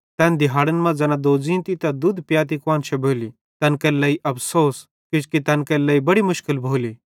तैन दिहाड़न मां ज़ैना दोज़ींती त दुध पियाती कुआन्शां भोली तैन केरे लेइ अफ़सोस किजोकि तैन केरे लेइ बड़ी मुश्किल भोली